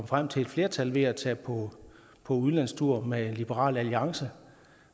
frem til et flertal ved at tage på udlandstur med liberal alliance